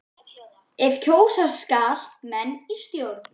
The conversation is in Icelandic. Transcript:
ef kjósa skal menn í stjórn.